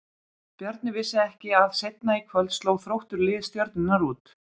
Bjarni vissi ekki að seinna í kvöld sló Þróttur lið Stjörnunnar út.